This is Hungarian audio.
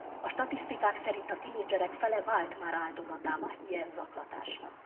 A statisztikák szerint a tinédzserek fele vált már áldozatává ilyen zaklatásnak.